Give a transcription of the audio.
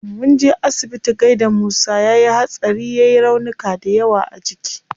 Munje asibiti gaida musa, yayi hatsari yai raunuka dayawa a jiki